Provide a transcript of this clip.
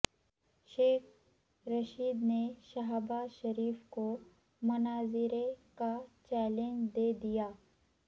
شیخ رشید نے شہباز شریف کو مناظرے کا چیلنج دے دیا